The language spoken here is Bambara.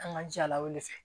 An ka jala wele